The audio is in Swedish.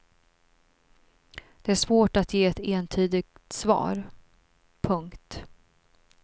Det är svårt att ge ett entydigt svar. punkt